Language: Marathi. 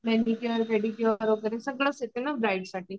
मॅनिक्यूर पेडिक्यूर वगैरे सगळंच येते ना ब्राईडसाठी